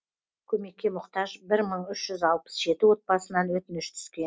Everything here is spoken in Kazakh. көмекке мұқтаж бір мың үш жүз алпыс жеті отбасынан өтініш